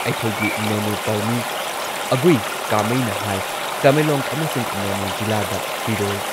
ꯑꯩꯈꯣꯏꯒꯤ ꯅꯣꯅꯦ ꯄꯥꯎꯃꯤ ꯑꯒꯨꯏ ꯀꯥꯃꯩꯅ ꯍꯥꯏ ꯇꯃꯦꯡꯂꯣꯡ ꯑꯃꯁꯨꯡ ꯅꯣꯅꯦ ꯖꯤꯂꯥꯗ ꯐꯤꯔꯣꯜ,